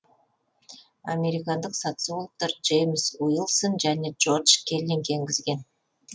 американдық социологтар джеймс уилсон және джордж келлинг енгізген